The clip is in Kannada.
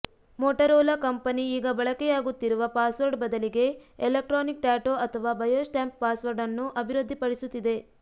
ಮೋಟರೋಲಾ ಕಂಪೆನಿ ಈಗ ಬಳಕೆಯಾಗುತ್ತಿರುವ ಪಾಸವರ್ಡ್ ಬದಲಿಗೆ ಎಲೆಕ್ಟ್ರಾನಿಕ್ ಟ್ಯಾಟೋ ಅಥವಾ ಬಯೋಸ್ಟ್ಯಾಂಪ್ ಪಾಸ್ವರ್ಡ್ನ್ನು ಅಭಿವೃದ್ಧಿ ಪಡಿಸುತ್ತಿದೆ